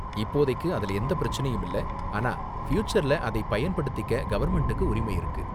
இப்போதைக்கு அதுல எந்த பிரச்சனையும் இல்ல, ஆனா ஃப்யூச்சர்ல அதை பயன்படுத்திக்க கவர்ன்மெண்ட்டுக்கு உரிமை இருக்கு.